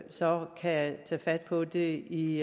så kan tage fat på det i